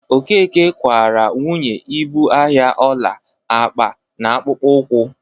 Okeke kwaara nwunye ibu ahịa ọla, akpa na akpụkpọ ụkwụ.